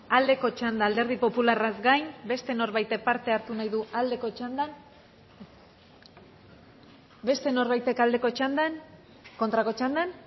aldeko txandan alderdi popularraz gain beste norbaitek parte hartu nahi du aldeko txandan beste norbaitek aldeko txandan kontrako txandan